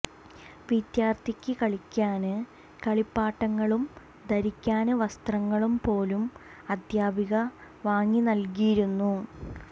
വിദ്യാര്ത്ഥിക്ക് കളിക്കാന് കളിപ്പാട്ടങ്ങളും ധരിക്കാന് വസ്ത്രങ്ങളും പോലും അധ്യാപിക വാങ്ങി നല്കിയിരുന്നു